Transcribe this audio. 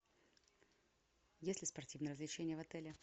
есть ли спортивные развлечения в отеле